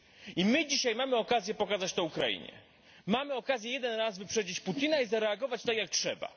I my dzisiaj mamy okazję pokazać to Ukrainie, mamy okazję jeden raz wyprzedzić Putina i zareagować tak, jak trzeba.